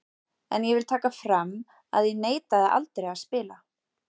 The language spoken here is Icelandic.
En ég vil taka fram að ég neitaði aldrei að spila.